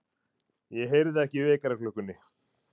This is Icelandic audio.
Ég heyrði ekki í vekjaraklukkunni.